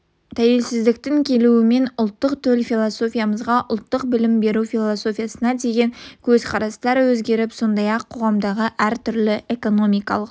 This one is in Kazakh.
тәуелсіздіктің келуімен ұлттық төл философиямызға ұлттық білім беру философиясына деген көзқарастар өзгеріп сондай-ақ қоғамдағы әртүрлі экономикалық